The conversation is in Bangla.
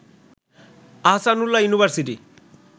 আহসানুল্লাহ ইউনিভার্সিটি